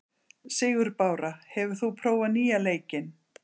Sigurbára, hefur þú prófað nýja leikinn?